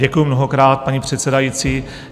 Děkuji mnohokrát, paní předsedající.